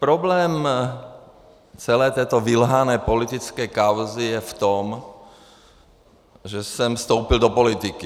Problém celé této vylhané politické kauzy je v tom, že jsem vstoupil do politiky.